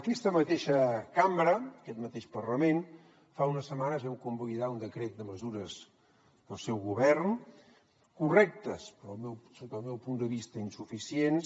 aquesta mateixa cambra aquest mateix parlament fa unes setmanes vam convalidar un decret de mesures del seu govern correctes però sota el meu punt de vista insuficients